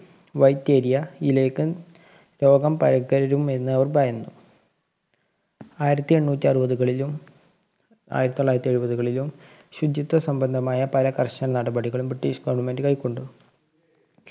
White area യിലേക്ക് രോഗം പകരും എന്നവര്‍ ഭയന്നു. ആയിരത്തി എണ്ണൂറ്റി അറുവതുകളിലും ആയിരത്തി തൊള്ളായിരത്തി എഴുപതുകളിലും ശുചിത്വ സംബന്ധമായ പല കര്‍ശന നടപടികളും ബ്രിട്ടീഷ് government കൈക്കൊണ്ടു.